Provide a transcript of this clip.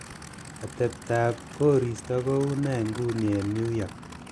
atebtab koristo koune en inguni en new york